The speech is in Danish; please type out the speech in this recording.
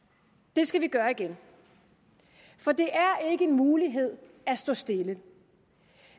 det skal vi gøre igen for det er ikke en mulighed at stå stille